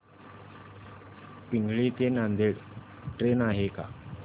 पिंगळी ते नांदेड ट्रेन आहे का